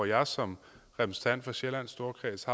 jeg har som repræsentant for sjællands storkreds